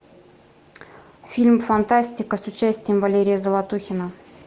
фильм фантастика с участием валерия золотухина